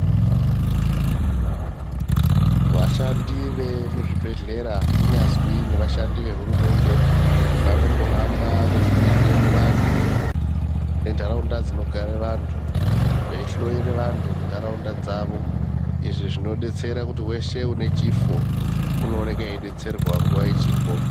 Vashandi vemuzvibhedhlera kunyazwi nevashandi vehurumende vanombohamba veipinde muvantu nentaraunda dzinogara vanhu veihloyere vanhu kuntaraunda dzavo izvi zvinodetsera kuti wese une chifo unooneka eidetserwa nguwa ichipo.